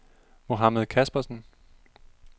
Mohamed Caspersen